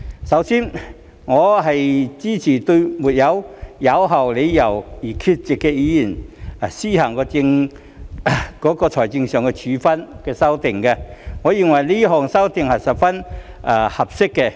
首先，我支持對並無有效理由而缺席的議員施行財政處分的修訂，我認為這項修訂是十分合適的。